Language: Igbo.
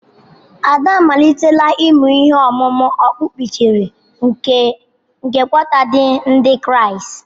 Ada amalitela ịmụ ihe ọmụmụ okpukperechi nke Qatar ndị Kraịst.